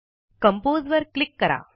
compose वर क्लिक करा